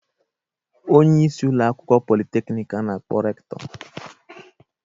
Onye isi ụlọakwụkwọ politeknik ka a na-akpọ Rektọ.